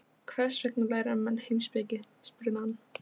Í botni apalhrauna eru af þessum sökum venjulega þunn gjalllög.